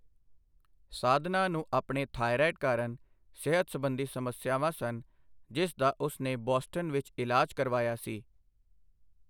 ਸਾਧਨਾ ਨੂੰ ਆਪਣੇ ਥਾਇਰਾਇਡ ਕਾਰਨ ਸਿਹਤ ਸਬੰਧੀ ਸਮੱਸਿਆਵਾਂ ਸਨ, ਜਿਸ ਦਾ ਉਸ ਨੇ ਬੋਸਟਨ ਵਿੱਚ ਇਲਾਜ ਕਰਵਾਇਆ ਸੀ।